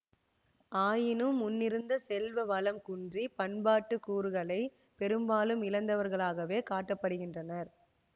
ஆயினும் முன்னிருந்த செல்வ வளம் குன்றி பண்பாட்டு கூறுகளை பெரும்பாலும் இழந்தவர்களாகவே காட்ட படுகிறனர்